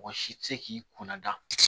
Mɔgɔ si tɛ se k'i kunna da